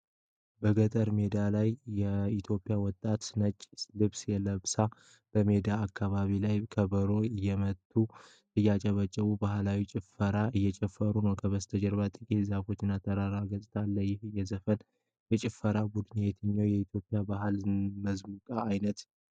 በገጠር ሜዳ ላይ የኢትዮጵያ ወጣቶች ነጭ ልብስ ለብሰው በሜዳማ አካባቢ ላይ ከበሮ እየመቱና እያጨበጨቡ ባህላዊ ጭፈራ እየጨፈሩ ነው። ከበስተጀርባ ጥቂት ዛፎች እና የተራራማ ገጽታ አለ። ይህ የዘፈንና የጭፈራ ቡድን የትኛው የኢትዮጵያ ባህላዊ ሙዚቃ ዓይነት ያቀርባል?